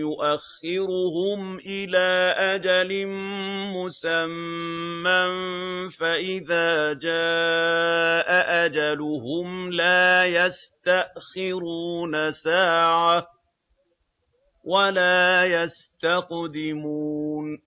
يُؤَخِّرُهُمْ إِلَىٰ أَجَلٍ مُّسَمًّى ۖ فَإِذَا جَاءَ أَجَلُهُمْ لَا يَسْتَأْخِرُونَ سَاعَةً ۖ وَلَا يَسْتَقْدِمُونَ